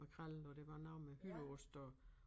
Makrel og der var noget med hytteost og